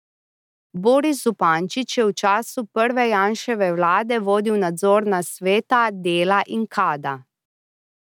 Boris Zupančič je v času prve Janševe vlade vodil nadzorna sveta Dela in Kada.